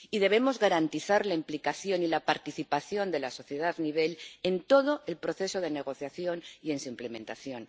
Y debemos garantizar la implicación y la participación de la sociedad en todo el proceso de negociación y en su implementación.